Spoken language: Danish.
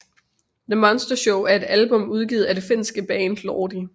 The Monster Show er et album udgivet af det finske band Lordi